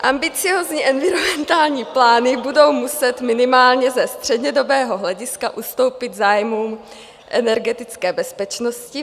Ambiciózní environmentální plány budou muset minimálně ze střednědobého hlediska ustoupit zájmům energetické bezpečnosti.